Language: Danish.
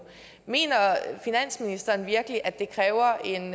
mener finansministeren virkelig at det kræver en